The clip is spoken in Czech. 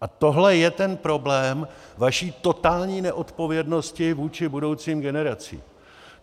A tohle je ten problém vaší totální neodpovědnosti vůči budoucím generacím.